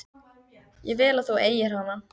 Ég vil að þú eigir hana.